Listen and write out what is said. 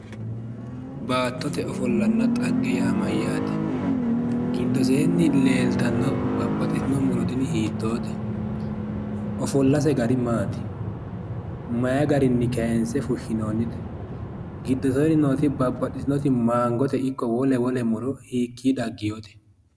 Baattote ofollanna dhagge yaa mayyaate? giddosenni leeltanno babbaxxitino muro tini hiittote? ofollanse gari maati? May garinni kaayinse fushshinoonnite? giddosenni nooti babbaxxitino mangote ikko wole wole hiikki daggewoote?